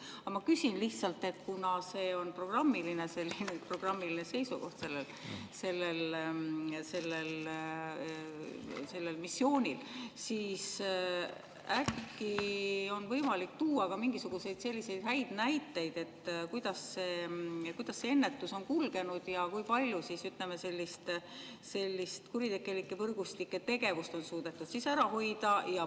Aga ma küsin lihtsalt, et kuna see on selle missiooni programmiline seisukoht, siis äkki on võimalik tuua ka mingisuguseid häid näiteid, kuidas see ennetus on kulgenud ja kui palju on kuritegelike võrgustike tegevust suudetud ära hoida.